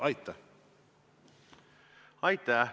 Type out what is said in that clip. Aitäh!